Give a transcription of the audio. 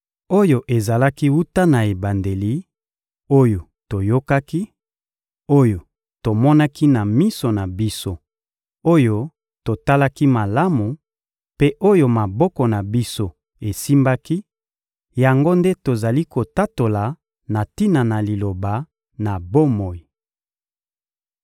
Oyo ezalaki wuta na ebandeli, oyo toyokaki, oyo tomonaki na miso na biso, oyo totalaki malamu, mpe oyo maboko na biso esimbaki, yango nde tozali kotatola na tina na Liloba na bomoi.